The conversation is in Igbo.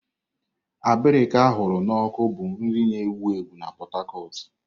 Abirika a hụrụ n'ọkụ bụ nri na-ewu ewu na Pot Tarcot.